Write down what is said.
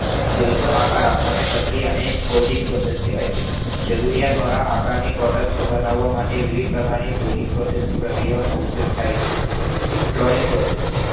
જોઈતો આકાર આપવાની ક્રિયાને forging process કહે છે. જરૂરિયાતવાળા આકારની Product બનાવવા માટે વિવિધ પ્રકારની Farting ક્રિયાઓનો ઉપયોગ થાય છે Drawing Process